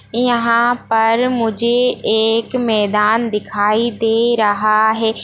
यहां पर मुझे एक मैदान दिखाई दे रहा है।